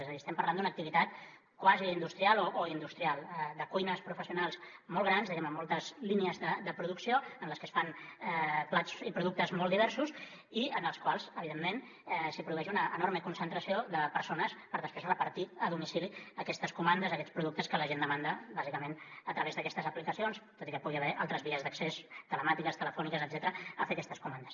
és a dir estem parlant d’una activitat quasi industrial o industrial de cuines professionals molt grans diguem ne amb moltes línies de producció en les que es fan plats i productes molt diversos i en els quals evidentment s’hi produeix una enorme concentració de persones per després repartir a domicili aquestes comandes aquests productes que la gent demanda bàsicament a través d’aquestes aplicacions tot i que hi pugui haver altres vies d’accés telemàtiques telefòniques etcètera per fer aquestes comandes